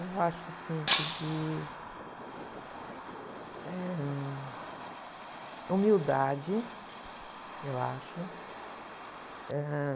Eu acho assim, que de, eh, hum, humildade, eu acho. Ãh...